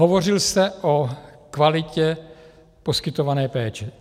Hovořil jste o kvalitě poskytované péče.